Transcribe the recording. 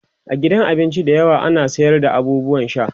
a gidan abinci da yawa ana sayar da abubuwan sha